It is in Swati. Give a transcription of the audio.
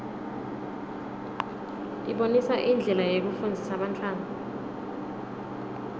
ibonisa indlela yekufundzisa bantfwana